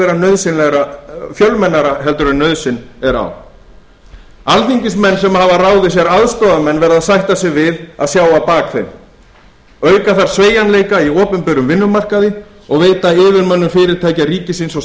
vera fjölmennara heldur en nauðsyn ber á alþingismenn sem hafa ráðið sér aðstoðarmenn verða að sætta sig við að sjá á bak þeim auka þarf sveigjanleika í opinberum vinnumarkaði og veita yfirmönnum fyrirtækja ríkisins og